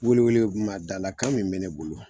Weele weele guma da la kan min mɛ ne bolo